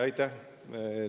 Aitäh!